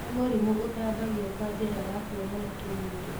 nĩ mũrimũ ũtambagio kwa njĩra ya kũonana kĩmwĩrĩ